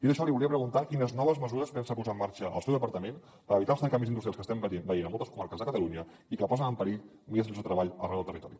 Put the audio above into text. dit això li volia preguntar quines noves mesures pensa posar en marxa el seu departament per evitar els tancaments industrials que estem veient en moltes comarques de catalunya i que posen en perill milers de llocs de treball arreu del territori